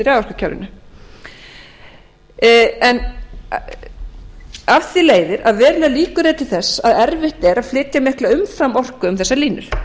að breytast í raforkukerfinu af því leiðir að verulegar líkur eru til þess að erfitt er að flytja mikla umframorku um þessar línur